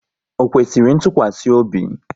Ọ kwesịrị ntụkwasị obi?